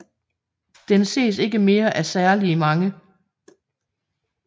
Den ses ikke mere af særligt mange